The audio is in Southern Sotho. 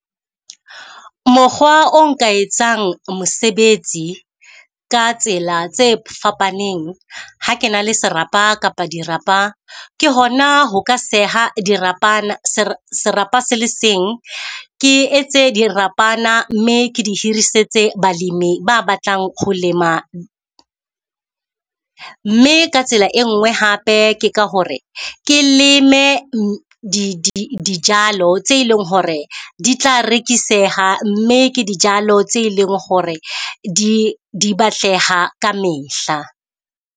Mokgwa o nka etsang mosebetsi ka tsela tse fapaneng. Ha ke na le serapa kapa dirapa, ke hona ho ka seha dirapana serapa se le seng. Ke etse dirapana mme ke di hirisetse balemi ba batlang ho lema. Mme ka tsela e nngwe hape ke ka hore ke leme di di dijalo tse e leng hore di tla rekiseha, mme ke dijalo tse e leng hore di di batleha kamehla.